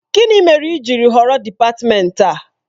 Gịnị mere i ji họrọ dị́patmenti a?